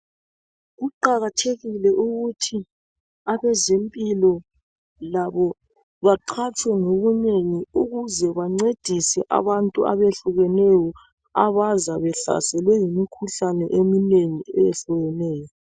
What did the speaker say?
Kuqakathekile ukuthi abeze mpilo labo baqhatshwe ngobunengi ukuze bancedise abantu abe hlukeneyo abaza behlaselwe yimikhuhlane eminengi eyehlukeneyo.